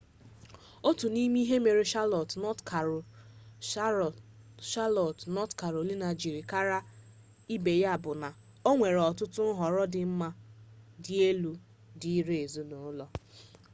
otu n'ime ihe mere chalọt nọt karolaina jiri kara ibe ya bụ na o nwere ọtụtụ nhọrọ dị mma ma dị elu dịịrị ezinụlọ